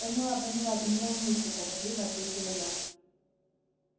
поняла поняла ты не волнуйся торопливо ответила я